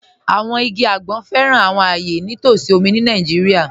Àwọn igi agbọn fẹ́ran àwọn ayé ní t'ọsí omi ni Naijíríà.